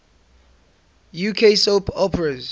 uk soap operas